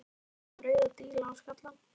Hann var kominn með rauða díla á skallann.